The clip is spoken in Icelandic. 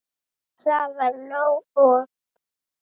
Það var nóg. og.